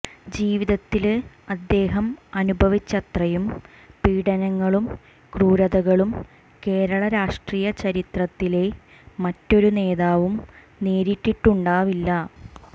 ജീവിതത്തില് അദ്ദേഹം അനുഭവിച്ചത്രയും പീഡനങ്ങളും ക്രൂരതകളും കേരള രാഷ്ട്രീയ ചരിത്രത്തിലെ മറ്റൊരു നേതാവും നേരിട്ടിട്ടുണ്ടാവില്ല